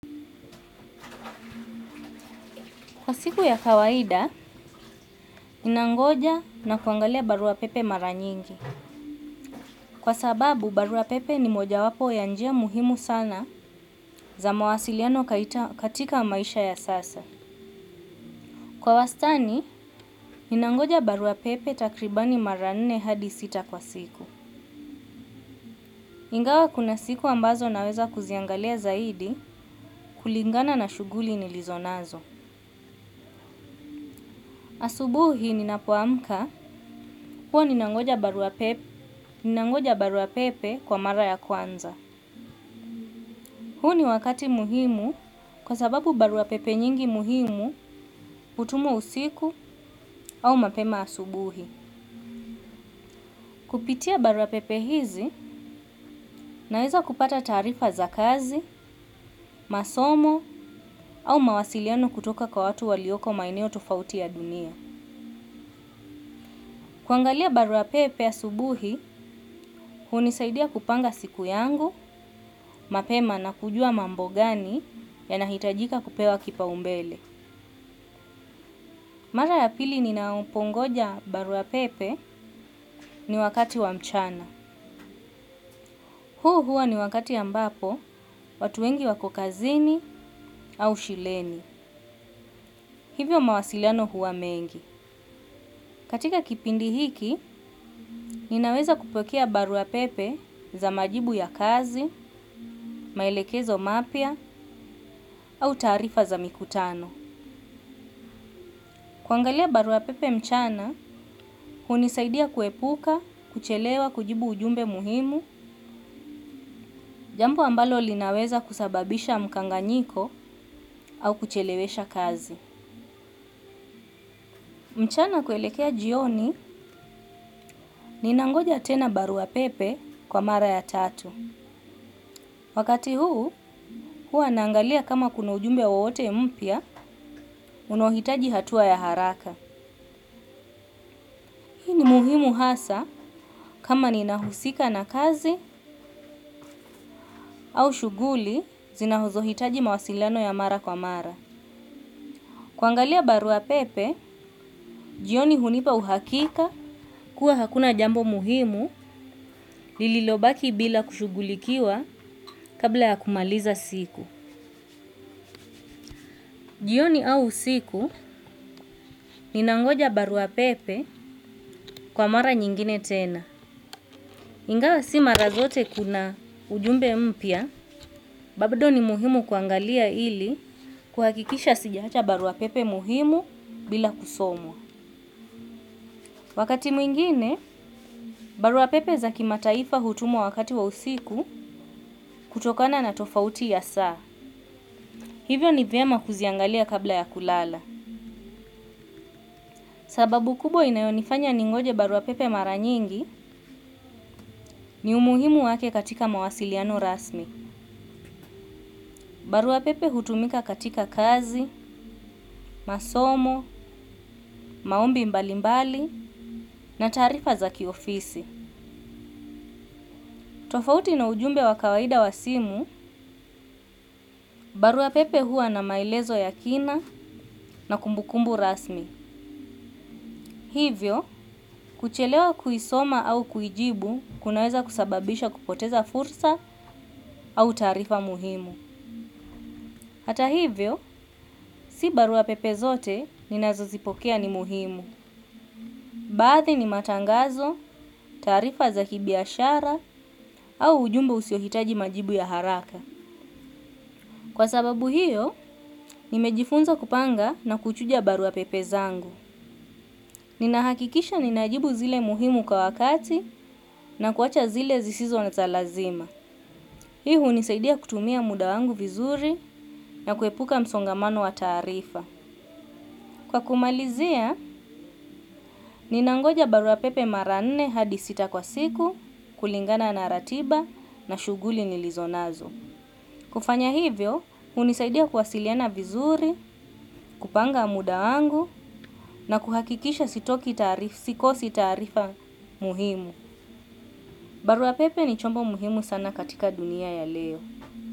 Kwa siku ya kawaida, ninangoja na kuangalia barua pepe mara nyingi. Kwa sababu, barua pepe ni moja wapo ya njia muhimu sana za mawasiliano katika maisha ya sasa. Kwa wastani, ninangoja barua pepe takribani mara nne hadi sita kwa siku. Ingawa kuna siku ambazo naweza kuziangalia zaidi kulingana na shuguli nilizonazo. Asubuhi ninapoamka, huwa ninangoja barua pepe kwa mara ya kwanza. Huu niwakati muhimu kwa sababu barua pepe nyingi muhimu hutumwa usiku au mapema asubuhi. Kupitia baruapepe hizi naeza kupata taarifa za kazi, masomo au mawasiliano kutoka kwa watu walioko maeneo tofauti ya dunia. Kuangalia baruapepe asubuhi, hunisaidia kupanga siku yangu, mapema na kujua mambo gani yanahitajika kupewa kipaumbele. Mara ya pili ninapongoja barua pepe ni wakati wa mchana. Huu hua ni wakati ambapo watu wengi wako kazini au shuleni. Hivyo mawasiliano huwa mengi. Katika kipindi hiki, ninaweza kupokea barua pepe za majibu ya kazi, maelekezo mapya au taarifa za mikutano. Kuangalia barua pepe mchana, hunisaidia kuepuka, kuchelewa, kujibu ujumbe muhimu. Jambo ambalo linaweza kusababisha mkanganyiko au kuchelewesha kazi. Mchana kuelekea jioni ninangoja tena barua pepe kwa mara ya tatu. Wakati huu, hua naangalia kama kuna ujumbe wowote mpya, unaohitaji hatua ya haraka. Muhimu hasa kama ninahusika na kazi au shuguli, zinazohitaji mawasilano ya mara kwa mara. Kuangalia barua pepe, jioni hunipa uhakika kuwa hakuna jambo muhimu lililobaki bila kushughulikiwa kabla ya kumaliza siku. Jioni au usiku ninangoja barua pepe kwa mara nyingine tena. Ingawa si mara zote kuna ujumbe mpya, bado ni muhimu kuangalia ili kuhakikisha sijaacha barua pepe muhimu bila kusomwa. Wakati mwingine, baruapepe zaki mataifa hutumwa wakati wa usiku kutokana na tofauti ya saa. Hivyo ni vyema kuziangalia kabla ya kulala. Sababu kubwa inayonifanya ningoje baruapepe maranyingi ni umuhimu wake katika mawasiliano rasmi. Baruapepe hutumika katika kazi, masomo, maombi mbalimbali na taarifa zaki ofisi. Tofauti na ujumbe wa kawaida wa simu, barua pepe hua na maelezo ya kina na kumbukumbu rasmi. Hivyo, kuchelewa kuisoma au kuijibu kunaweza kusababisha kupoteza fursa au taarifa muhimu. Hata hivyo, si barua pepe zote ninazozipokea ni muhimu. Baadhi ni matangazo, taarifa za kibiashara au ujumbe usiohitaji majibu ya haraka. Kwa sababu hiyo, nimejifunza kupanga na kuchuja barua pepe zangu. Ninahakikisha ninajibu zile muhimu kwa wakati na kuwacha zile zisizo na za lazima. Hii hunisaidia kutumia muda wangu vizuri na kuepuka msongamano wa tarifa. Kwa kumalizia, ninangoja barua pepe mara nne hadi sita kwa siku, kulingana na ratiba na shughuli nilizonazo. Kufanya hivyo, hunisaidia kuwasiliana vizuri, kupanga muda wangu na kuhakikisha sitoki taarifa, sikosi taarifa muhimu. Barua pepe ni chombo muhimu sana katika dunia ya leo.